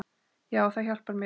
Já, það hjálpar mér.